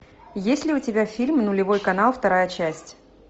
есть ли у тебя фильм нулевой канал вторая часть